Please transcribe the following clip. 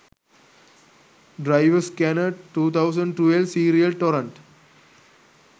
driver scanner 2012 serial torrent